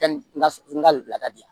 n ka bila ka di yan